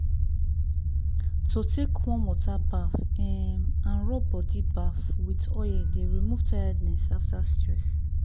to take warm water baff um and rub body baff with oil dey remove tiredness after stress.